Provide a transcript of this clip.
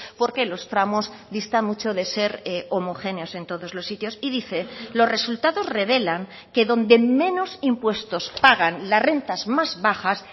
porque los tramos dista mucho de ser homogéneos en todos los sitios y dice los resultados revelan que donde menos impuestos pagan las rentas más bajas